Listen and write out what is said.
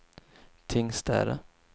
Tingstäde